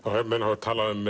menn hafa talað um